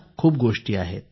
खूप गोष्टी आहेत